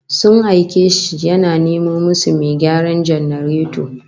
Sun aike shi ya nemo musu mai gyaran janareto